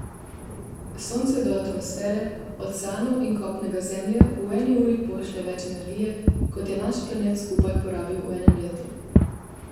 Sonce do atmosfere, oceanov in kopnega Zemlje v eni uri pošlje več energije, kot je naš planet skupaj porabi v enem letu.